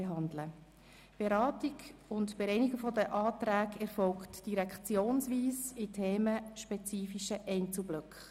Die Beratung und Bereinigung der Anträge erfolgen direktionsweise in themenspezifischen Einzelblöcken.